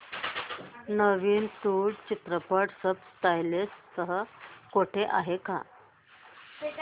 नवीन तुळू चित्रपट subtitles सह कुठे आहे का